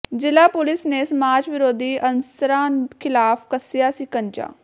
ਜ਼ਿਲ੍ਹਾ ਪੁਲਿਸ ਨੇ ਸਮਾਜ ਵਿਰੋਧੀ ਅਨਸਰਾਂ ਿਖ਼ਲਾਫ਼ ਕੱਸਿਆ ਸ਼ਿਕੰਜਾ